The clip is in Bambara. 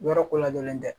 Yɔrɔ ko ladɔnlen tɛ